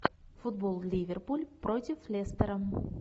футбол ливерпуль против лестера